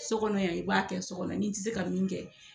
So kɔnɔ yan i b'a kɛ so kɔnɔ n'i ti se ka min kɛ